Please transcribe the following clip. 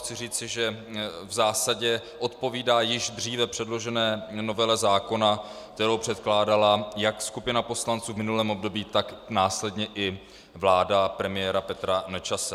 Chci říci, že v zásadě odpovídá již dříve předložené novele zákona, kterou předkládala jak skupina poslanců v minulém období, tak následně i vláda premiéra Petra Nečase.